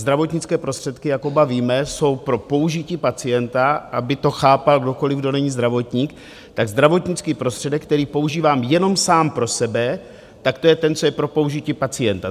Zdravotnické prostředky, jak oba víme, jsou pro použití pacienta, aby to chápal kdokoliv, kdo není zdravotník, tak zdravotnický prostředek, který používám jenom sám pro sebe, tak to je ten, co je pro použití pacienta.